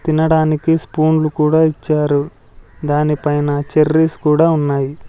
తినడానికి స్పూన్ లు కూడా ఇచ్చారు దానిపైన చెర్రీస్ కూడా ఉన్నాయి.